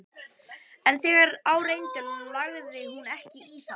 En þegar á reyndi lagði hún ekki í það.